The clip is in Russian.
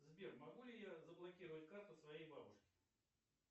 сбер могу ли я заблокировать карту своей бабушки